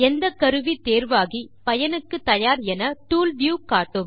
எந்த கருவி தேர்வாகி பயனுக்கு தயார் என டூல் வியூ காட்டும்